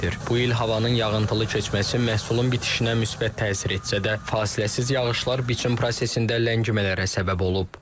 Bu il havanın yağıntılı keçməsi məhsulun bitişinə müsbət təsir etsə də, fasiləsiz yağışlar biçim prosesində ləngimələrə səbəb olub.